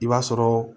I b'a sɔrɔ